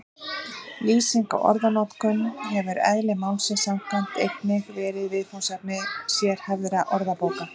Lýsing á orðanotkun hefur eðli málsins samkvæmt einnig verið viðfangsefni sérhæfðra orðabóka.